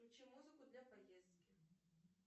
включи музыку для поездки